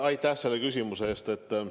Aitäh selle küsimuse eest!